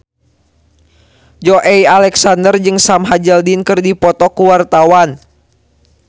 Joey Alexander jeung Sam Hazeldine keur dipoto ku wartawan